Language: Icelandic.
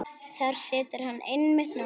Þar situr hann einmitt núna.